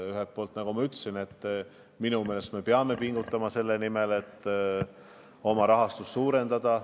Ühelt poolt, nagu ma ütlesin, me peame pingutama selle nimel, et rahastust suurendada.